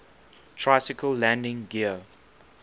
tricycle landing gear